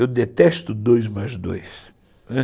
Eu detesto dois mais dois, não é.